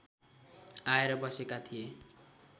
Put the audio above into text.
आएर बसेका थिए